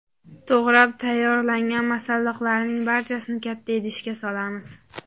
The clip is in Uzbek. To‘g‘rab tayyorlangan masalliqlarning barchasini katta idishga solamiz.